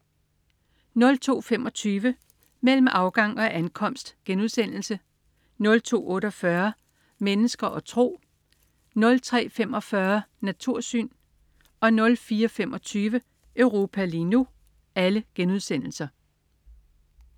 02.25 Mellem afgang og ankomst* 02.48 Mennesker og tro* 03.45 Natursyn* 04.25 Europa lige nu*